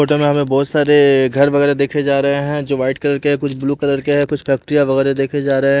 Hotel में हमें बहुत सारेएए घर वगैरह देखे जा रहे हैं जो वाइट कलर के है कुछ ब्लू कलर के है कुछ फैक्ट्रिया वगैरह देखे जा रहे हैं।